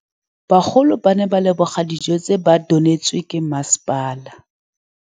Bagolo ba ne ba leboga dijô tse ba do neêtswe ke masepala.